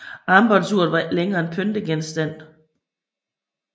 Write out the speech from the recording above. Armbåndsuret var ikke længere en pyntegenstand